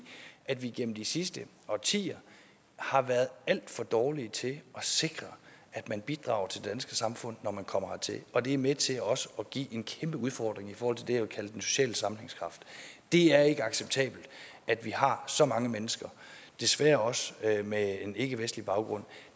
at vi gennem de sidste årtier har været alt for dårlige til at sikre at man bidrager til det danske samfund når man kommer hertil og det er med til også at give en kæmpe udfordring i forhold til det jeg vil kalde den sociale sammenhængskraft det er ikke acceptabelt at vi har så mange mennesker desværre også med en ikkevestlig baggrund